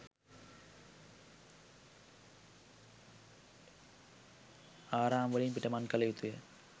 ආරාම වලින් පිටමන් කළ යුතුය.